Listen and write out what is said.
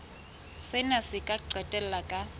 sena se ka qetella ka